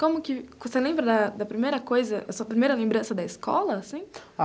Como que... Você lembra da da primeira coisa, da sua primeira lembrança da escola, assim?